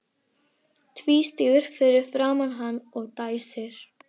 Tvístígur fyrir framan hana og dæsir.